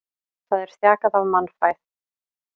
Það er þjakað af mannfæð.